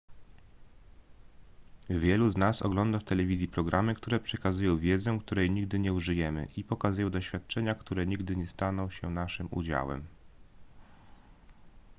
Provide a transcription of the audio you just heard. wielu z nas ogląda w telewizji programy które przekazują wiedzę której nigdy nie użyjemy i pokazują doświadczenia które nigdy nie staną się naszym udziałem